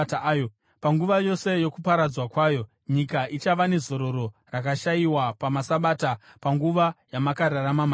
Panguva yose yokuparadzwa kwayo nyika ichava nezororo rayakashayiwa pamasabata panguva yamakararama mairi.